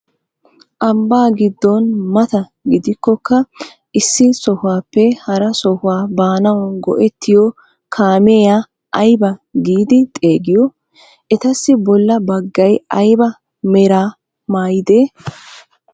Ambbaa giddon mata gidikokka issi sohuwaappe hara sohuwaa baanawu go"ettiyoo kaamiyaa aybaa giidi xeegiyoo? etassi bolla baggay ayba meraa mayidee?